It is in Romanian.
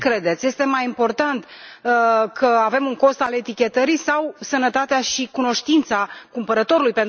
Ce credeți este mai important că avem un cost al etichetării sau sănătatea și cunoștințele cumpărătorului?